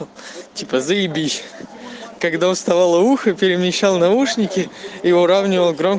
типо завелись когда уставала ухо перемещал наушники и уровни